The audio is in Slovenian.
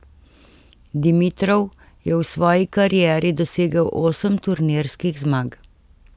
Dimitrov je v svoji karieri dosegel osem turnirskih zmag.